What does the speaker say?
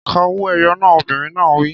Ka owó-ẹyọ náà! Obìnrin náà á wí.